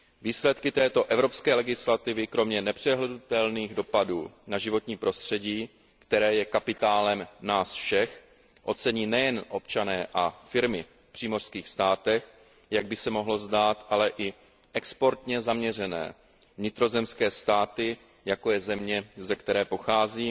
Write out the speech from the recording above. Výsledky této evropské legislativy kromě nepřehlédnutelných dopadů na životní prostředí, které je kapitálem nás všech, ocení nejen občané a firmy v přímořských státech, jak by se mohlo zdát, ale i exportně zaměřené vnitrozemské státy, jako je země, ze které pocházím,